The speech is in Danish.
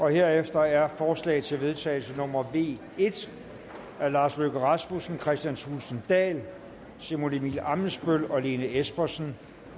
herefter er forslag til vedtagelse nummer v en af lars løkke rasmussen kristian thulesen dahl simon emil ammitzbøll og lene espersen